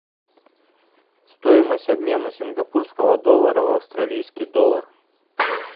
стоимость обмена сингапурского доллара в австралийский доллар